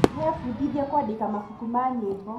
Nĩebundithĩtie kwandĩka mabuku ma nyĩmbo